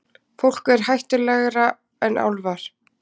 Fólk er hættulegra en álfar.